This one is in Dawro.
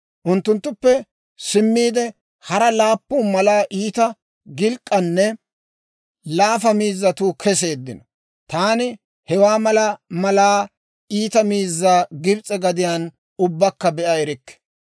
Unttunttuppe simmiide, hara laappun malaa iita, gilk'k'anne laafa miizzatuu keseeddino; taani hewaa mala malaa iita miizzaa Gibs'e gadiyaan ubbakka be'a erikke.